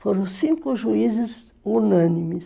Foram cinco juízes unânimes.